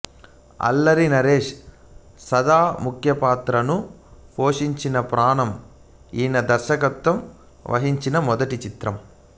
అల్లరి నరేష్ సదా ముఖ్యపాత్రలు పోషించిన ప్రాణం ఈయన దర్శకత్వం వహించిన మొదటి చిత్రం